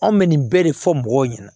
Anw bɛ nin bɛɛ de fɔ mɔgɔw ɲɛna